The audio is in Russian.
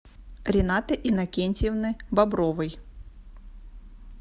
ренаты иннокентьевны бобровой